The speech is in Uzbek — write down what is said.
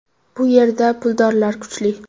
Bu yerda puldorlar kuchli.